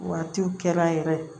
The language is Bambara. Waatiw kɛra yɛrɛ